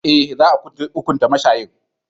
Eh, za a hunkunta mashayin.